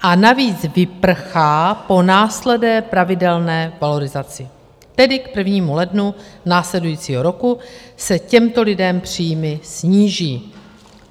A navíc vyprchá po následné pravidelné valorizaci, tedy k 1. lednu následujícího roku se těmto lidem příjmy sníží.